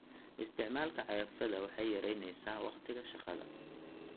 Isticmaalka cagafyada waxay yaraynaysaa wakhtiga shaqada.